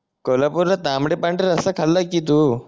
कोल्हापूरला तांबड पांढरा रस्सा खाल्लय कि तू